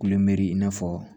Kulɛri i n'a fɔ